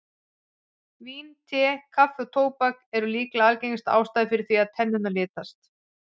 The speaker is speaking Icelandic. Vín, te, kaffi og tóbak eru líka algengar ástæður fyrir því að tennurnar litast.